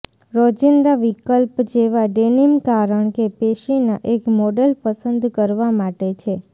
રોજિંદા વિકલ્પ જેવા ડેનિમ કારણ કે પેશીના એક મોડેલ પસંદ કરવા માટે છે